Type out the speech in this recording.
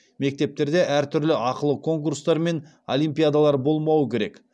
мектептерде әртүрлі ақылы конкурстар мен олимпиадалар болмауы керек